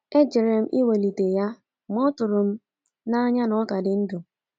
E jere m iwelite ya ma ọ tụrụ m n'anya na ọ ka dị ndụ.